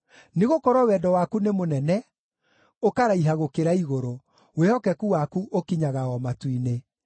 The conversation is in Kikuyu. Nĩgũkorwo wendo waku nĩ mũnene, ũkaraiha gũkĩra igũrũ; wĩhokeku waku ũkinyaga o matu-inĩ.